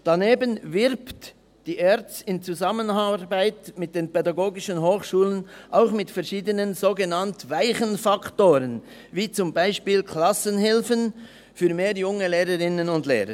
Daneben wirbt die ERZ im Zusammenarbeit mit den PH auch mit verschiedenen, sogenannt weichen Faktoren wie beispielsweise Klassenhilfen für mehr junge Lehrerinnen und Lehrer.